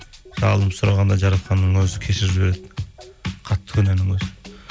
жалынып сұрағанда жаратқанның өзі кешіріп жібереді қатты күнәнің өзін